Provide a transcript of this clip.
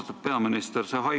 Austatud peaminister!